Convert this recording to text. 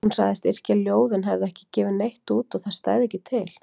Hún sagðist yrkja ljóð en hefði ekki gefið neitt út og það stæði ekki til.